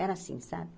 Era assim, sabe?